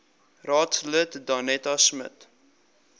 raadslid danetta smit